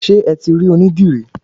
Ṣé eti rí oní dìrí?